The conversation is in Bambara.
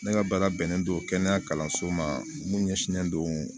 Ne ka baara bɛnnen don kɛnɛya kalanso ma mun ɲɛsinnen don